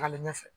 Tagalen ɲɛfɛ